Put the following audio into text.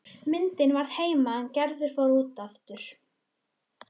Myndin varð eftir heima er Gerður fór út aftur.